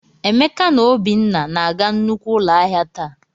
Emeka na Obinna na-aga nnukwu ụlọ ahịa taa.